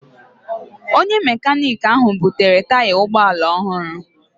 Onye mekaniki ahụ butere taya ụgbọ ala ọhụrụ.